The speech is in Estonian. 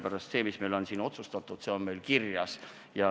Ja see, mis meil on otsustatud, on siin kirjas.